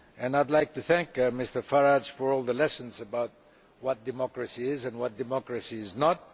I would like to thank Mr Farage for all the lessons about what democracy is and what democracy is not.